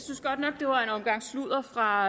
synes godt nok det var en omgang sludder fra